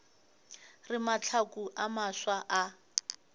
re mahlaku a mafsa a